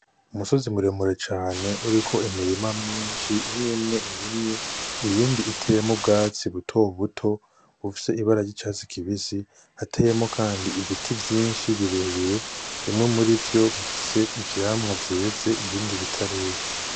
Umusozi muremure cane uriko imirima myinshi. Imwimwe irimye, iyindi uteyemwo ubwatsi butobuto bufise ibara ry'icatsi kibisi. Hateyemwo kandi ibiti vyinshi birebire, bimwe murivyo bifise ivyamwa vyeze ibindi bitarera.